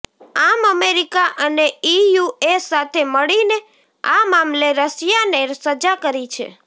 આમ અમેરિકા અને ઈયુએ સાથે મળીને આ મામલે રશિયાને સજા કરી છે